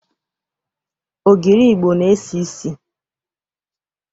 Ogiri Igbo na-esi isi.